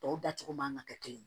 Tɔw dacogo man ka kɛ kelen ye